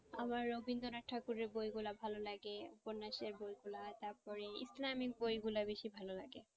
আমার রবীন্দ্রনাথ ঠাকুরের বই গুলা ভালো লাগে উপন্যাসের বই গুলো তারপরে ইসলামিক বইগুলা বেশি ভালো লাগে।